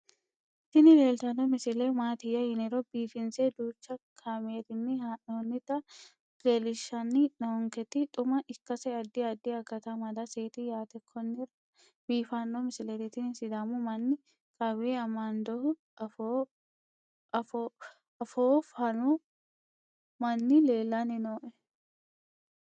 tini leeltanni noo misile maaati yiniro biifinse danchu kaamerinni haa'noonnita leellishshanni nonketi xuma ikkase addi addi akata amadaseeti yaate konnira biiffanno misileeti tini sidaamu manni qawe amandohu afoo fanno manni lellanni nooe